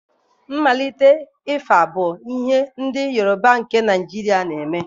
Mmalite ịfa bu ihe ndị Yorùbá nke Naijiria na-eme.